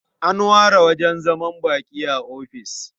An ware wajen zaman baƙi a ofis.